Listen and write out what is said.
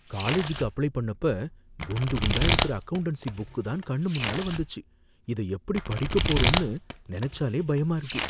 காலேஜுக்கு அப்ளை பண்ணப்ப, குண்டு குண்டா இருக்கிற அக்கவுண்டன்சி புக் தான் கண்ணு முன்னால வந்துச்சி. இதை எப்படி படிக்க போறோம்னு நனைச்சாலே பயமா இருக்கு.